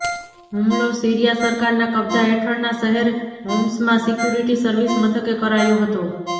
હુમલો સીરિયા સરકારના કબજા હેઠળના શહેર હોમ્સમાં સિક્યુરિટી સર્વિસ મથકે કરાયો હતો